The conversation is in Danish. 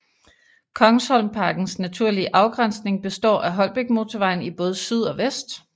Kongsholmparkens naturlige afgrænsning består af Holbækmotorvejen i både syd og vest